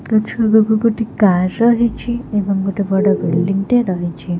ଗଛ ଆଗକୁ ଗୋଟେ କାର ରହିଛି ଏବଂ ଗୋଟେ ବଡ ବିଲଡିଙ୍ଗଟେ ରହିଛି।